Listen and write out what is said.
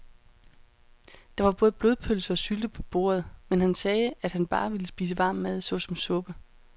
Der var både blodpølse og sylte på bordet, men han sagde, at han bare ville spise varm mad såsom suppe.